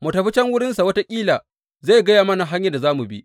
Mu tafi can wurinsa wataƙila zai gaya mana hanyar da za mu bi.